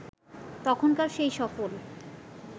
তখনকার সেই সফল